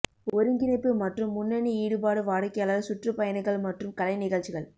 ஒருங்கிணைப்பு மற்றும் முன்னணி ஈடுபாடு வாடிக்கையாளர் சுற்றுப்பயணங்கள் மற்றும் கலை நிகழ்ச்சிகள்